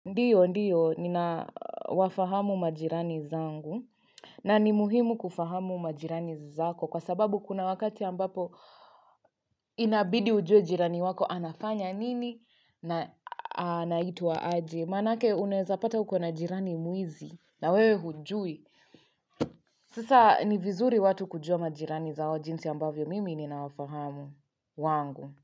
Ndiyo, ndiyo, ninawafahamu majirani zangu na ni muhimu kufahamu majirani zako kwa sababu kuna wakati ambapo inabidi ujue jirani wako anafanya nini na anaitwa aje Manake unaweza pata ukona jirani mwizi na wewe hujui. Sasa ni vizuri watu kujua majirani zao jinsi ambavyo mimi ninawafahamu wangu.